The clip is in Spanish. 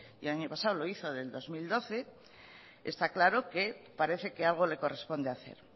y el año pasado lo hizo del dos mil doce está claro que parece que algo le corresponde hacer